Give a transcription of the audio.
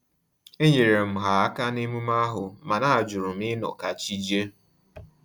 Enyere m ha aka na-emume ahu, mana ajurum ịnọ ka chi jie